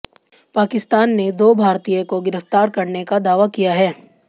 पाकिस्तान ने दो भारतीय को गिरफ्तार करने का दावा किया है